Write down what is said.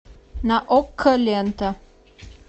на окко лента